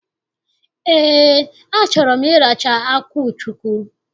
Ee, achọrọ m ịracha akwụ chukwu.